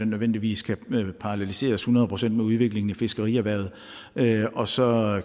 nødvendigvis kan paralleliseres hundrede procent med udviklingen i fiskerierhvervet og så